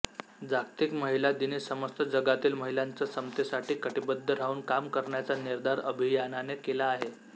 जागतिक महिला दिनी समस्त जगातील महिलांचा समतेसाठी कटीबद्ध राहून काम करण्याचा निर्धार अभियानाने केला आहे